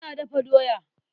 Ina dafa doya.